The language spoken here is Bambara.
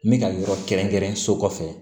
N bɛ ka yɔrɔ kɛrɛnkɛrɛn so kɔfɛ